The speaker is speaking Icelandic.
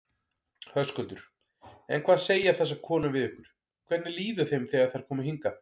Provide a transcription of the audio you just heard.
Höskuldur: En hvað segja þessar konur við ykkur, hvernig líður þeim þegar þær koma hingað?